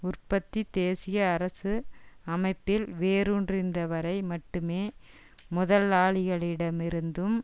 உற்பத்தி தேசிய அரசு அமைப்பில் வேரூன்றியிருந்தவரை மட்டுமே முதலாளிகளிடம் இருந்தும்